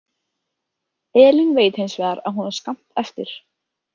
Elín veit hins vegar að hún á skammt eftir.